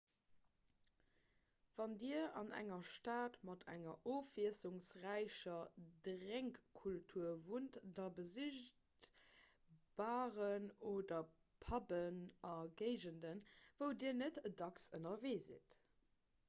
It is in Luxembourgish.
wann dir an enger stad mat enger ofwiesslungsräicher drénkkultur wunnt da besicht baren oder pubben a géigenden wou dir net dacks ënnerwee sidd